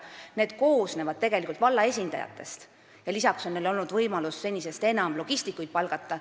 Need koosnevad tegelikult valla esindajatest ja lisaks on neil olnud võimalus senisest enam logistikuid palgata.